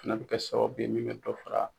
Fana bɛ kɛ sababu bɛ min bɛ dɔ fara.